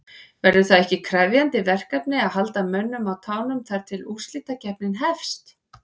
Verður það ekki krefjandi verkefni að halda mönnum á tánum þar til að úrslitakeppnin hefst?